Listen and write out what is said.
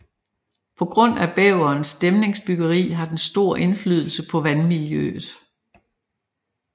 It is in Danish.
På grund af bæverens dæmningsbyggeri har den stor indflydelse på vandmiljøet